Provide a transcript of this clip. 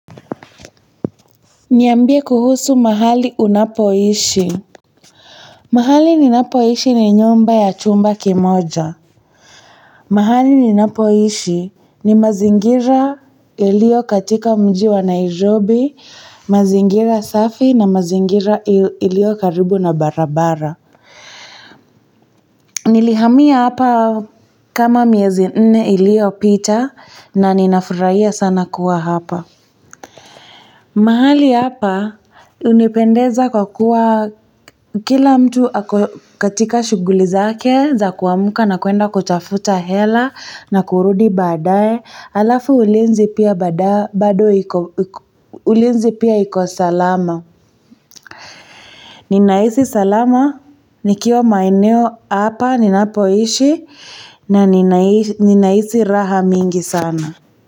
Niambie kuhusu mahali unapoishi. Mahali ninapoishi ni nyumba ya chumba kimoja. Mahali ninapoishi ni mazingira ilio katika mji wa Nairobi, mazingira safi na mazingira ilio karibu na barabara. Nilihamia hapa kama miezi nne iliyopita na ninafurahia sana kuwa hapa. Mahali hapa hunipendeza kwa kuwa kila mtu ako katika shughuli zake za kuamka na kuenda kutafuta hela na kurudi baadaye alafu ulinzi pia iko salama. Ninahisi salama nikiwa maeneo hapa ninapoishi na ninahisi raha mingi sana.